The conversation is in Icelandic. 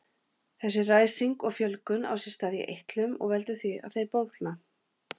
Þessi ræsing og fjölgun á sér stað í eitlum og veldur því að þeir bólgna.